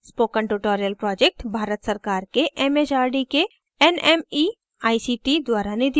spoken tutorial project Bharat सरकार के M H R D के nmeict द्वारा निधिबद्ध है